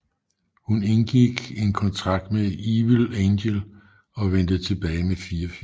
Hun indgik en kontrakt med Evilangel og vendte tilbage med fire film